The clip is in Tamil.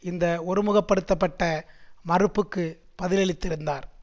இந்த ஒருமுகப்படுத்தப்பட்ட மறுப்புக்கு பதிலளித்திருந்தார்